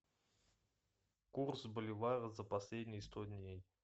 курс боливара за последние сто дней